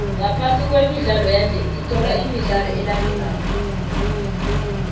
ngaphasi kwemidlalo yanje sithola imidlalo elandelako